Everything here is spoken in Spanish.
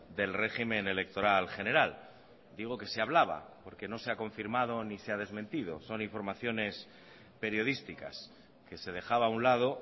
del régimen electoral general digo que se hablaba porque no se ha confirmado ni se ha desmentido son informaciones periodísticas que se dejaba a un lado